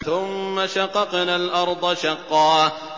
ثُمَّ شَقَقْنَا الْأَرْضَ شَقًّا